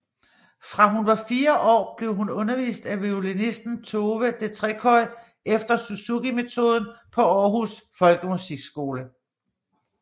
Fra hun var fire år blev hun undervist at violinisten Tove Detreköy efter Suzukimetoden på Århus Folkemusikskole